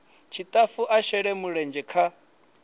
tshitafu a shele mulenzhe kha